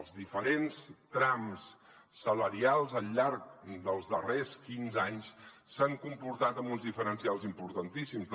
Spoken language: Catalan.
els diferents trams salarials al llarg dels darrers quinze anys s’han comportat amb uns diferencials importantíssims